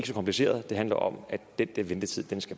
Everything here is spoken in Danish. så kompliceret det handler om at den der ventetid